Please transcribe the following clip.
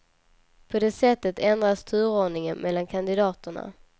På det sättet ändras turordningen mellan kandidaterna.